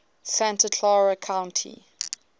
santa clara county